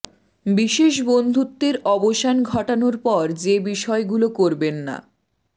বিশেষ বন্ধুত্বের অবসান ঘটানোর পর যে বিষয়গুলো করবেন না